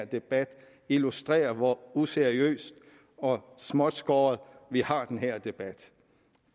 debat illustrerer hvor useriøst og småtskåret vi har den her debat